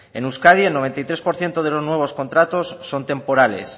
en euskadi el noventa y tres por ciento de los nuevos contratos son temporales